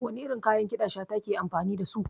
Wani irin kayan ƙiɗa Shata ke amfani dasu?